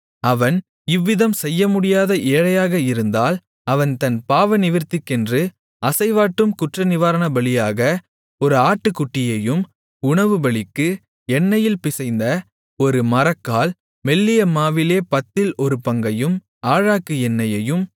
அவன் இவ்விதம் செய்யமுடியாத ஏழையாக இருந்தால் அவன் தன் பாவநிவிர்த்திக்கென்று அசைவாட்டும் குற்றநிவாரணபலியாக ஒரு ஆட்டுக்குட்டியையும் உணவுபலிக்கு எண்ணெயில் பிசைந்த ஒரு மரக்கால் மெல்லிய மாவிலே பத்தில் ஒரு பங்கையும் ஆழாக்கு எண்ணெயையும்